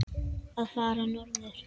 að fara norður?